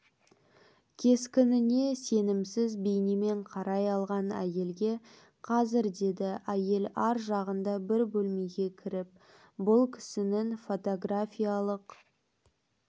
кескініне сенімсіз бейнемен қарай қалған әйелге қазір деді әйел аржағында бір бөлмеге кіріп бұл кісінің фотографиялық